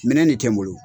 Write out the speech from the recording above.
Minɛn de tɛ n bolo